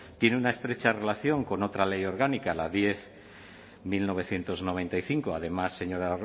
tiene una estrecha relación con otra ley orgánica la diez barra mil novecientos noventa y cinco además señora